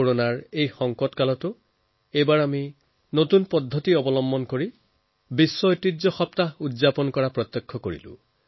corona পৰ্ব চলাৰ পাছতো এইবাৰ আমি উদ্ভাৱনী উপায়েৰে জনসাধাৰণক এই ঐতিহ্য সপ্তাহ পালন কৰি দেখুৱালো